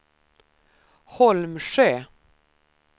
Holmsjö